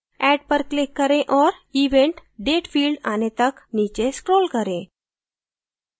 add पर click करें और event date field आने तक नीचे scroll करें